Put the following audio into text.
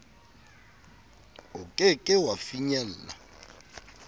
o ke ke wa finyella